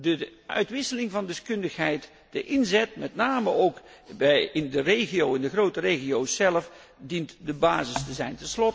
De uitwisseling van deskundigheid, de inzet met name ook in de grote regio zelf, dient de basis te zijn.